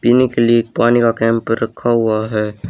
पीने के लिए एक पानी का कैंप रखा हुआ है।